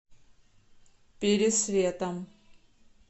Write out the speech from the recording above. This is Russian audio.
пересветом